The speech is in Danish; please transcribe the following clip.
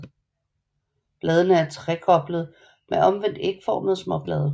Bladene er trekoblede med omvendt ægformede småblade